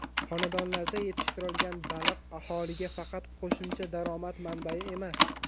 Xonadonlarda yetishtirilgan baliq aholiga faqat qo‘shimcha daromad manbai emas.